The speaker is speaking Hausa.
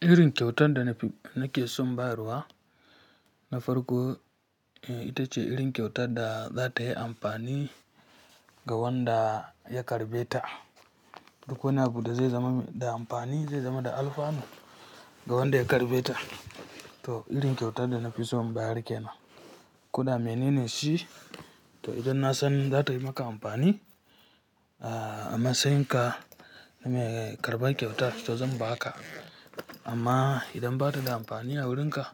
Irin kyauta da nake son bayarwa, na farko ita ce irin kyauta da za ta yi amfani ga wanda ya karɓe ta. Duk wani abu da zai zama da amfani, zai zama da alfanu ga wanda ya karɓe ta. To irin kyautar da na fi son inbayar kenan. Kuda menene shi? To idan na san za ta yi maka amfani, a matsayin ka, name karɓan kyautar to zan ba ka. Amma idan ba ta da amfani a wurin ka,